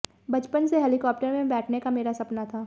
बचपन से हेलिकॉप्टर में बैठने का मेरा सपना था